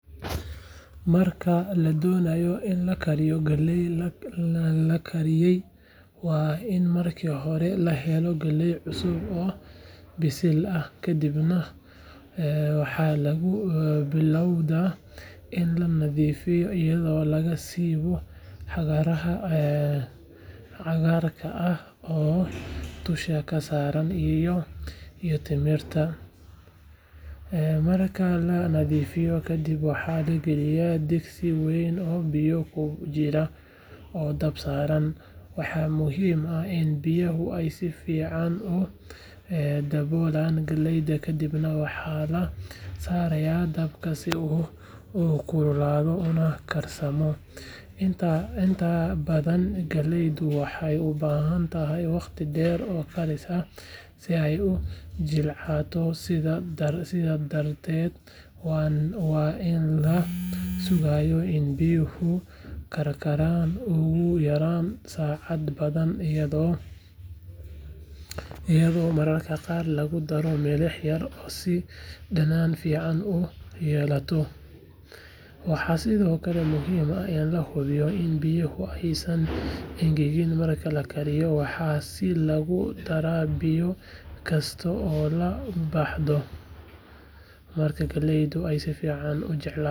Marka ladonayo in la kariyo galeyda, galeyda lakariye waa in marka hore lahelo galey cusub oo bisil ah kadiib waxaa lagu bilawga in la nadhifiyo iyaada si u waxyaalaha cagarka ah iyo timirta, marka la badhifiyo waa la galiya digsi, inta badan galeyda waxee ubahantahay waqti deer, iyada oo mar qar lagu daro milix, waxaa si lagu dara biyo kasta oo la baxda marka galeydu si ukarto.